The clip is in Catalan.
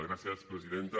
gràcies presidenta